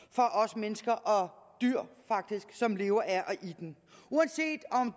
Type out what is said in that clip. for os mennesker og dyr som lever af og i den uanset om